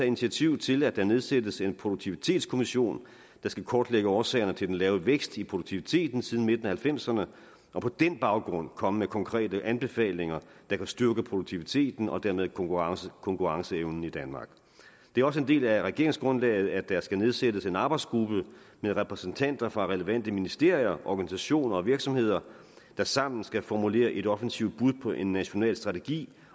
initiativ til at der nedsættes en produktivitetskommission der skal kortlægge årsagerne til den lave vækst i produktiviteten siden midten af nitten halvfemserne og på den baggrund komme med konkrete anbefalinger der kan styrke produktiviteten og dermed konkurrenceevnen konkurrenceevnen i danmark det er også en del af regeringsgrundlaget at der skal nedsættes en arbejdsgruppe med repræsentanter for relevante ministerier organisationer og virksomheder der sammen skal formulere et offensivt bud på en national strategi